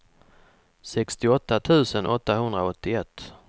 sextioåtta tusen åttahundraåttioett